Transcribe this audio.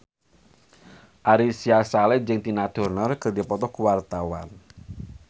Ari Sihasale jeung Tina Turner keur dipoto ku wartawan